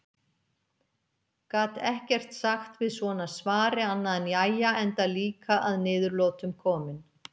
Gat ekkert sagt við svona svari annað en jæja enda líka að niðurlotum kominn.